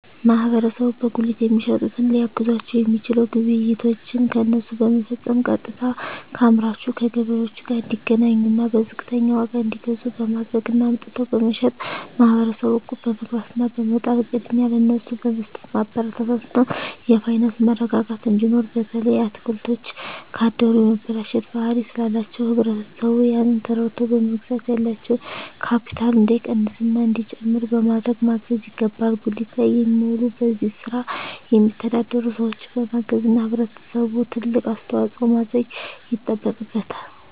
ማህበረሰቡ በጉሊት የሚሸጡትን ሊያግዛቸዉ የሚችለዉ ግብይቶችን ከነሱ በመፈፀም ቀጥታከአምራቹ ከገበሬዎቹ ጋር እንዲገናኙና በዝቅተኛ ዋጋ እንዲገዙ በማድረግ እና አምጥተዉ በመሸጥ ማህበረሰቡ እቁብ በመግባት እና በመጣል ቅድሚያ ለነሱ በመስጠትማበረታታት እና የፋይናንስ መረጋጋት እንዲኖር በተለይ አትክልቶች ካደሩ የመበላሸት ባህሪ ስላላቸዉ ህብረተሰቡ ያንን ተረድተዉ በመግዛት ያላቸዉ ካቢታል እንዳይቀንስና እንዲጨምር በማድረግ ማገዝ ይገባል ጉሊት ላይ የሚዉሉ በዚህ ስራ የሚተዳደሩ ሰዎችን በማገዝና ህብረተሰቡ ትልቅ አስተዋፅኦ ማድረግ ይጠበቅበታል